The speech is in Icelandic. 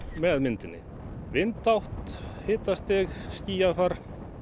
með myndinni vindátt hitastig skýjafar